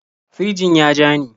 Firjin ya ja ni.